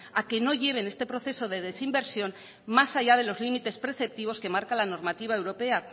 a que no lleven este proceso de desinversión más allá de los límites preceptivos que marca la normativa europea